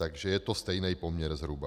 Takže je to stejný poměr, zhruba.